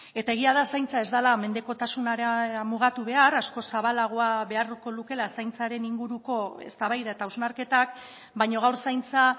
eta egia da zaintza ez dela mendekotasunera mugatu behar askoz zabalagoa beharko lukeela zaintzaren inguruko eztabaida eta hausnarketak baina gaur zaintza